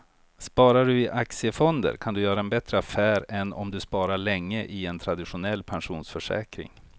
Sparar du i aktiefonder kan du göra en bättre affär än om du sparar länge i en traditionell pensionsförsäkring.